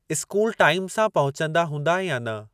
School time सां पहुचंदा हूंदा या न?